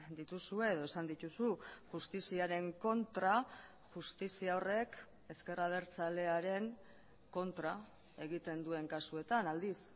dituzue edo esan dituzu justiziaren kontra justizia horrek ezker abertzalearen kontra egiten duen kasuetan aldiz